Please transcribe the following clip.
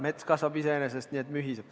Mets kasvab iseenesest nii et mühiseb.